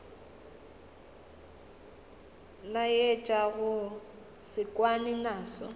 laetša go se kwane naso